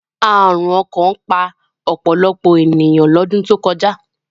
Àrùn ọkàn pa ọ̀pọ̀lọpọ̀ ènìyàn lọ́dún tó kọjá